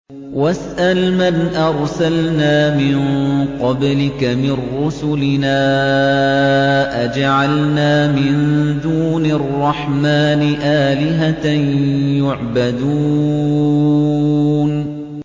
وَاسْأَلْ مَنْ أَرْسَلْنَا مِن قَبْلِكَ مِن رُّسُلِنَا أَجَعَلْنَا مِن دُونِ الرَّحْمَٰنِ آلِهَةً يُعْبَدُونَ